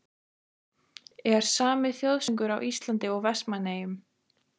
Er SAMI þjóðsöngur hjá Íslandi og Vestmannaeyjum?